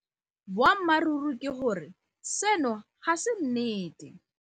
Boammaruri ke gore seno ga se nnete.